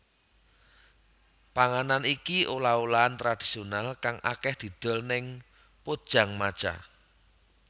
Panganan iki olah olahan tradisional kang akèh didol ning Pojangmacha